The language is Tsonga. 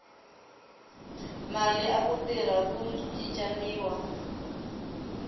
mali aku tirha ku cincaniwa